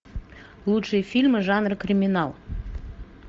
лучшие фильмы жанра криминал